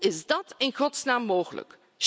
Hoe is dat in godsnaam mogelijk?